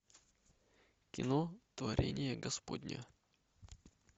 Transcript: кино творение господне